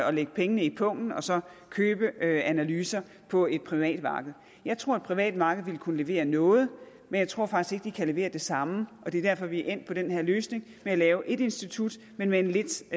at lægge pengene i pungen og så købe analyser på et privat marked jeg tror et privat marked vil kunne levere noget men jeg tror faktisk ikke det kan levere det samme og det er derfor vi er endt med den her løsning med at lave ét institut men med en lidt